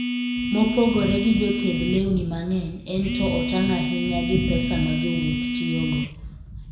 Mopogore gi jothedh lewni mang'eny, en to otang' ahinya gi pesa ma jowuoth tiyogo.